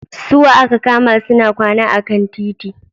Su wa aka kama suna kwana a kan titi?